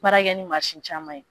Baara kɛ ni mansin caman ye